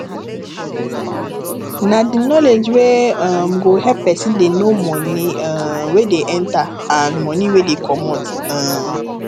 na di knowledge wey um go help person dey know money um wey dey enter and money wey dey comot um